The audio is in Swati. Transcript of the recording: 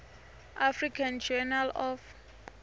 african journal of